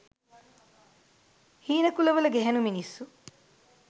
හීන කුලවල ගැහැනු මිනිස්සු.